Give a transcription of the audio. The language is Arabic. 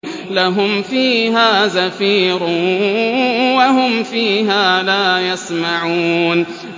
لَهُمْ فِيهَا زَفِيرٌ وَهُمْ فِيهَا لَا يَسْمَعُونَ